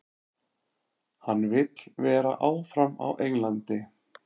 Hann vill vera áfram á Englandi.